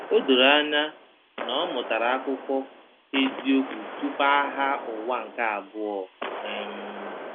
O doro anya na ọ mụtara akụkọ eziokwu tupu Agha Ụwa nke Abụọ. um